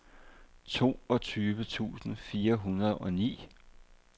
toogtyve tusind fire hundrede og ni